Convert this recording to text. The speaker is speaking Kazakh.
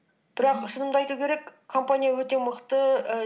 бірақ шынымды айту керек компания өті мықты і